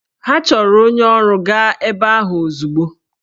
Ha chọrọ onye ọrụ, gaa ebe ahụ ozugbo!